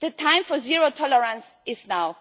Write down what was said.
The time for zero tolerance is now.